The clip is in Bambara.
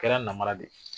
Kɛra namara de ye